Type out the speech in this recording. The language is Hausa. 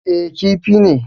Eh, Kifi ne